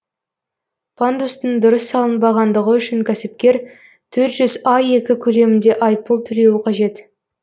пандустың дұрыс салынбағандығы үшін кәсіпкер төрт жүз аек көлемінде айыппұл төлеуі қажет